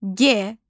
G.